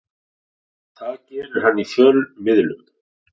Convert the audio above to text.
Það gerir hann í fjölmiðlum